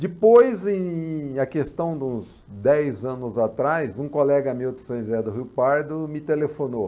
Depois, em na questão dos dez anos atrás, um colega meu de São José do Rio Pardo me telefonou.